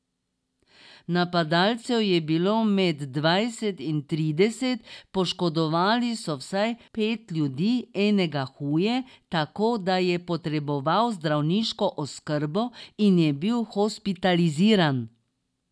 Napadalcev je bilo med dvajset in trideset, poškodovali so vsaj pet ljudi, enega huje, tako da je potreboval zdravniško oskrbo in je bil hospitaliziran.